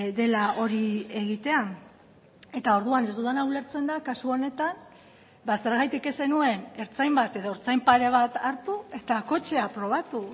dela hori egitea eta orduan ez dudana ulertzen da kasu honetan zergatik ez zenuen ertzain bat edo ertzain pare bat hartu eta kotxea probatu